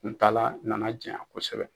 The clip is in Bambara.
Kuntaala nana janya kosɛbɛ